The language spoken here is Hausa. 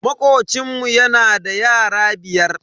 Makocinmu yana da yara biyar.